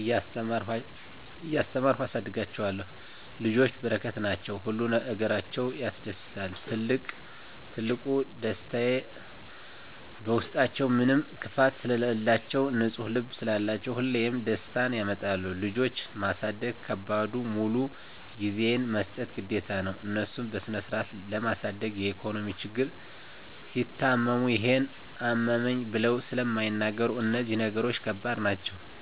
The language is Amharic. እያስተማርኩ አሳድጋቸዋለሁ። ልጆች በረከት ናቸዉ። ሁሉ ነገራቸዉ ያስደስታል ትልቁ ደስታየ በዉስጣችዉ ምንም ክፋት ስለላቸዉ፣ ንፁ ልብ ስላላቸዉ ሁሌም ደስታን ያመጣሉ። ልጆች ማሳደግ ከባዱ ሙሉ ጊዜሽን መስጠት ግድ ነዉ፣ እነሱን በስነስርአት ለማሳደግ የኢኮኖሚ ችግር፣ ሲታመሙ ይሄን አመመኝ ብለዉ ስለማይናገሩ እነዚህ ነገሮች ከባድ ናቸዉ።